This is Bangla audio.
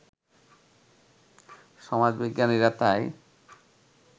সমাজবিজ্ঞানীরা তাই